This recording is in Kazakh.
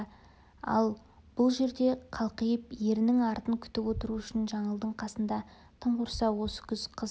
ал бұл жерде қалқиып ерінің артын күтіп отыру үшін жаңылдың қасында тым құрса осы күз қыс